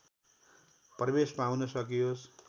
प्रवेश पाउन सकियोस्